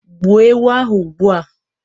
gbuo ewu ahu ugbua